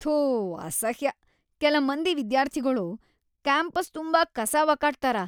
ಥೂ ಅಸಹ್ಯ್, ಕೆಲ ಮಂದಿ ವಿದ್ಯಾರ್ಥಿಗೊಳು ಕ್ಯಾಂಪಸ್‌ ತುಂಬಾ ಕಸಾ ವಕಾಟ್ತಾರ.